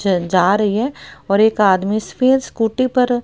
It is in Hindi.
ज जा रही हैं और एक आदमी इस स्कूटी पर--